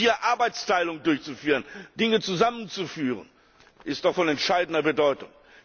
Hier Arbeitsteilung durchzuführen, Dinge zusammenzuführen, ist doch von entscheidender Bedeutung.